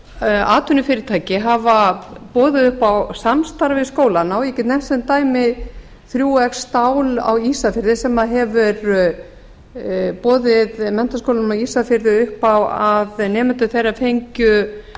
að atvinnufyrirtæki hafa boðið upp á samstarf við skólana og ég get nefnt sem dæmi þriggja xstál á ísafirði sem hefur boðið menntaskólanum á ísafirði upp á að nemendur þeirra fengju